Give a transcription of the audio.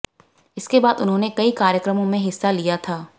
इसके बाद उन्होंने कई कार्यक्रमों में हिस्सा लिया था